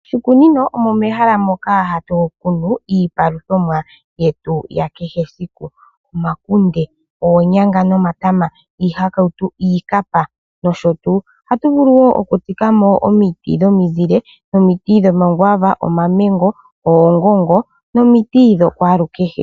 Oshikunino omo mehala moka hatu kunumo iipaluthomwa yetu ya kehe esiku . Omakunde, oonyanga nomatama, iihakautu, iikapa nosho tuu. Ohatu vulu oku tsikamo woo omiti dhomizile, omiti dhomakwaava, oongongo nomiti dha kwalu kehe.